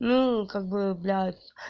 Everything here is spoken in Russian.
ну как бы блядь